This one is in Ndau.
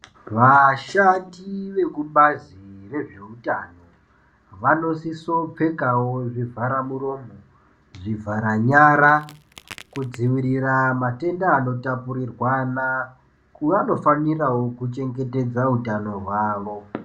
Vashandi vekubazi rezvewutano, vanosiso pfekawo zvivharamuromo, zvivhara nyara, kudzivirira matenda anotapurirwana. Vanofanirawo kuchengetedza wutano wawo.